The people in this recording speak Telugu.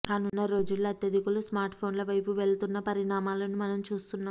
రానున్న రోజుల్లో అత్యధికులు స్మార్ట్ఫోన్ల వైపు మళ్లుతున్న పరిణామాలను మనం చూస్తున్నాం